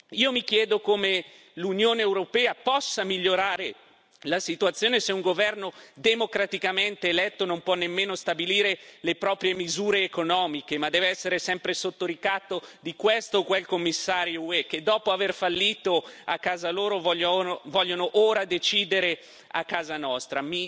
Io mi chiedo come l'Unione europea possa migliorare la situazione se un governo democraticamente eletto non può nemmeno stabilire le proprie misure economiche ma deve essere sempre sotto ricatto di questo o quel commissario UE, che dopo aver fallito a casa propria vuole ora decidere a casa nostra.